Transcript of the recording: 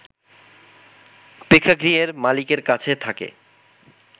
প্রেক্ষাগৃহের মালিকের কাছে থাকে